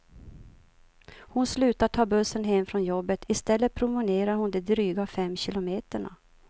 Hon slutar ta bussen hem från jobbet, i stället promenerar hon de dryga fem kilometerna.